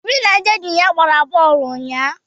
Obi na ndị enyi ya gbara bọọlụ ụnyahụ.